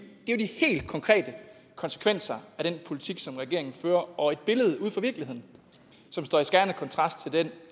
helt konkrete konsekvenser af den politik som regeringen fører og et billede på virkeligheden som står i skærende kontrast til den